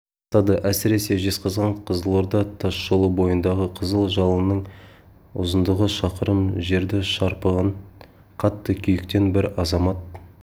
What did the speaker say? растады әсіресе жезқазған-қызылорда тасжолы бойындағы қызыл жалынның ұзындығы шақырым жерді шарпыған қатты күйіктен бір азамат